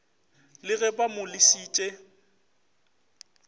le ge ba mo lesitše